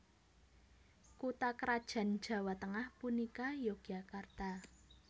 Kutha krajan Jawa Tengah punika Yogyakarta